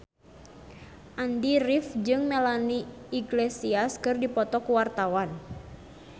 Andy rif jeung Melanie Iglesias keur dipoto ku wartawan